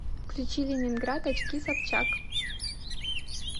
включи ленинград очки собчак